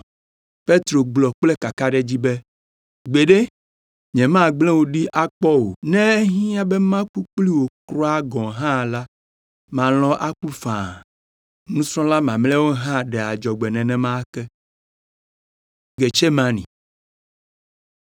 Petro gblɔ kple kakaɖedzi be, “Gbeɖe, nyemagblẽ wò ɖi akpɔ o. Ne ehiã be maku kpli wò kura gɔ̃ hã la, malɔ̃ aku faa.” Nusrɔ̃la mamlɛawo hã ɖe adzɔgbe nenema ke.